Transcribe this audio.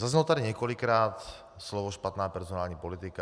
Zaznělo tady několikrát slovo špatná personální politika.